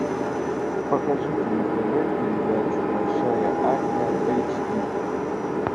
покажите на тв передачу большая азия эйч ди